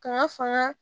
Kan ka fanga